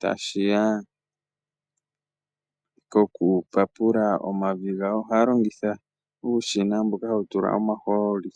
tashi ya pokupapula omavi gawo , ohaya longitha uushina mboka hawu tulwa omahooli.